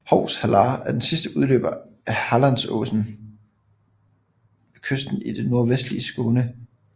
Hovs hallar er den sidste udløber af Hallandsåsen ved kysten i det nordvestlige Skåne